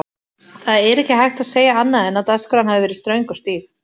Það er ekki hægt að segja annað en að dagskráin hafi verið ströng og stíf.